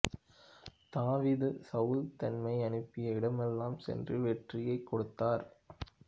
தாவீது சவுல் தம்மை அனுப்பிய இடமெல்லாம் சென்று வெற்றியைக் கொடுத்தார்